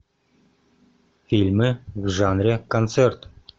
фильмы в жанре концерт